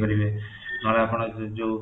ଦେଇପାରିବେ ନହେଲେ ଆପଣ ଯୋଉ